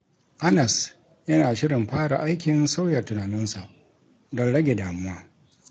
Anas yana shirin fara aikin sauya tunaninsa don rage damuwa.